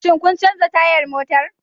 Shin kun canza tayar motar